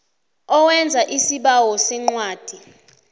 owenza isibawo sencwadi